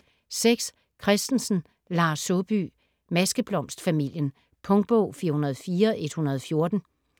Christensen, Lars Saabye: Maskeblomstfamilien Punktbog 404114